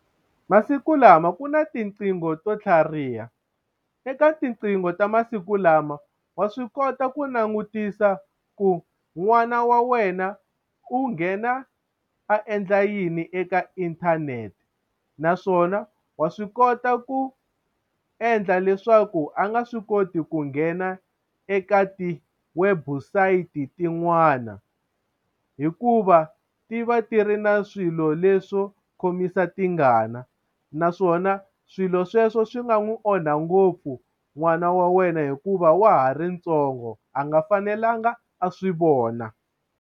Masiku lama ku na tiqingho to tlhariha eka tinqingho ta masiku lama wa swi kota ku langutisa ku n'wana wa wena u nghena a endla yini eka inthanete naswona wa swi kota ku endla leswaku a nga swi koti ku nghena eka ti-website tin'wana hikuva ti va ti ri na swilo leswo khomisa tingana naswona swilo sweswo swi nga n'wi onha ngopfu n'wana wa wena hikuva wa ha ri ntsongo a nga fanelanga a swi vona.